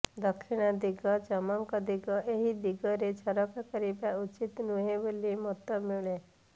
ଦକ୍ଷିଣ ଦିଗ ଯମଙ୍କ ଦିଗ ଏହି ଦିଗରେ ଝରକା କରିବା ଉଚିତ ନୁହେଁବୋଲି ମତ ମିଳେ